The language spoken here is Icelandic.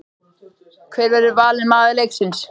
Hver verður valinn maður leiksins?